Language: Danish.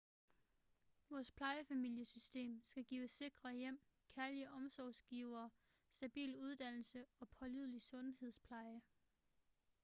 vores plejefamiliesystem skal give sikre hjem kærlige omsorgsgivere stabil uddannelse og pålidelig sundhedspleje